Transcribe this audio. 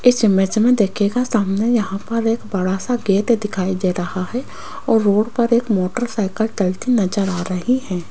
इस इमेज में देखिएगा सामने यहां पर एक बड़ा सा गेट दिखाई दे रहा है और रोड पर एक मोटरसाइकिल चलती नजर आ रही है।